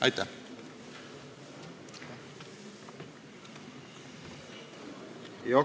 Aitäh!